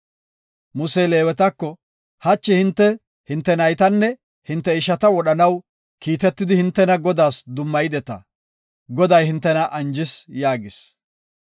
Musey Leewetako, “Hachi hinte, hinte naytanne hinte ishata wodhanaw kiitetidi hintena Godaas dummayideta. Goday hintena anjis” yaagis.